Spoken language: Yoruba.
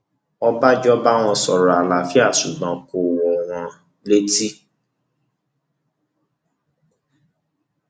ọbànjọ bá wọn sọrọ àlàáfíà ṣùgbọn kò wọn wọn létí